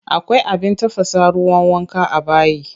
Akwai abin tafasa ruwan wanka a bayi.